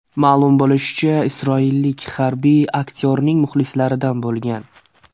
Ma’lum bo‘lishicha, isroillik harbiy aktyorning muxlislaridan bo‘lgan.